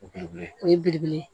O belebele o ye belebele ye